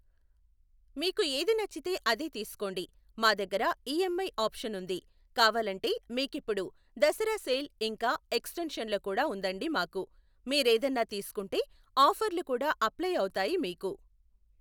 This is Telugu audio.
మీకు ఏది నచ్చితే అదే తీసుకోండి. మా దగ్గర ఇఎంఐ ఆప్షన్ ఉంది. కావాలంటే మీకిప్పుడు దసరా సేల్ ఇంకా ఎక్స్టెంషన్లో కూడా ఉందండి మాకు. మీరేదన్నా తీసుకుంటే ఆఫర్లు కూడా అప్లై అవుతాయి మీకు.